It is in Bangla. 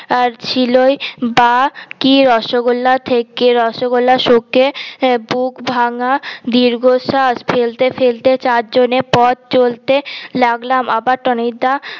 আর ছিলই বা কি রসগোল্লা থেকে রসগোল্লা শোকে বুক ভাঙা দীঘশাঁস ফেলতে ফেলতে চার জন এ পথ চলতে লাগলাম আবার টনিক দা